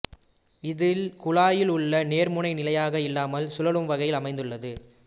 இதில் குழாயிலுள்ள நேர்முனை நிலையாக இல்லாமல் சுழலும் வகையில் அமைந்துள்ளது